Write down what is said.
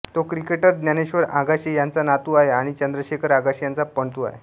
तो क्रिकेटर ज्ञानेश्वर आगाशे यांचा नातू आहे आणि चंद्रशेखर आगाशे यांचा पणतू आहे